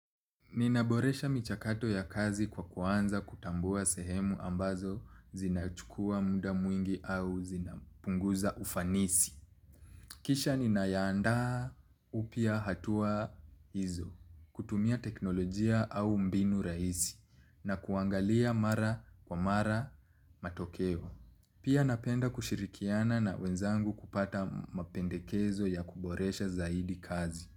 Ninaboresha michakato ya kazi kwa kuanza kutambua sehemu ambazo zinachukua muda mwingi au zinapunguza ufanisi. Kisha ninayaandaa upya hatua hizo, kutumia teknolojia au mbinu raisi, na kuangalia mara kwa mara matokeo. Pia napenda kushirikiana na wenzangu kupata mapendekezo ya kuboresha zaidi kazi.